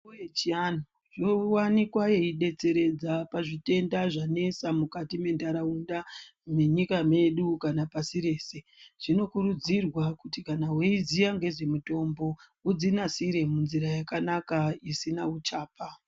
Mitombo yechiantu yowanikwa yeidetseredza pazvitenda zvanesa mukati mentaraunda menyika medu kana pasi rese , zvinokurudzirwa kuti kana weiziya ngezvemitombo udzinasire munzira yakanaka isina uchapa.